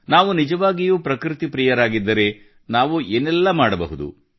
ನಾವು ನಿಜವಾಗಿಯೂ ಪ್ರಕೃತಿ ಪ್ರಿಯರಾಗಿದ್ದರೆ ನಾವು ಏನೆಲ್ಲ ಮಾಡಬಹುದು